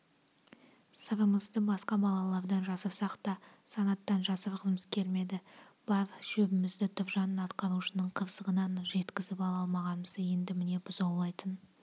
сырымызды басқа балалардан жасырсақ та санаттан жасырғымыз келмеді бар шөбімізді тұржан атқарушының қырсығынан жеткізіп ала алмағанымызды енді міне бұзаулайтын